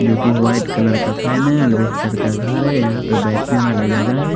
जोकि white colour का fan है।